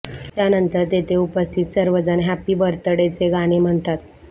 त्यानंतर तेथे उपस्थित सर्व जण हॅप बर्थ डेचे गाणे म्हणतात